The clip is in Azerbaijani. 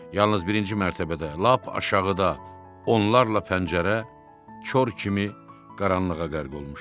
Yalnız birinci mərtəbədə, lap aşağıda, onlarla pəncərə kor kimi qaranlığa qərq olmuşdu.